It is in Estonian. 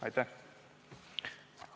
Aitäh!